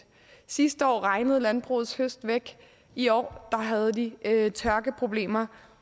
sidste år regnede landbrugets høst væk i år havde de tørkeproblemer